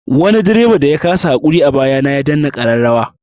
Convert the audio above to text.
Wani direban da ya kasa haƙuri a baya na ya danna ƙararrawa.